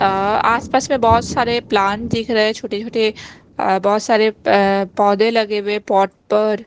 अ आसपास में बहुत सारे प्लांट दिख रहे हैं छोटे-छोटे बहुत सारे पौधे लगे हुए पॉट पर।